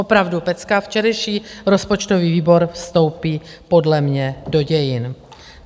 Opravdu pecka, včerejší rozpočtový výbor vstoupí podle mě do dějin.